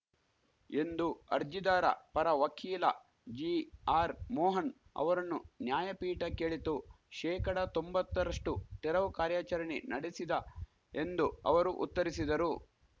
ಎಂದು ಅರ್ಜಿದಾರ ಪರ ವಕೀಲ ಜಿಆರ್‌ಮೋಹನ್‌ ಅವರನ್ನು ನ್ಯಾಯಪೀಠ ಕೇಳಿತು ಶೇಕಡಾ ತೊಂಬತ್ತರಷ್ಟು ತೆರವು ಕಾರ್ಯಚರಣೆ ನಡೆಸಿದ ಎಂದು ಅವರು ಉತ್ತರಿಸಿದರು